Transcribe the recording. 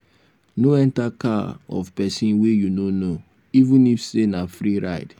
no enter car of pesin wey you no know even if say na free ride.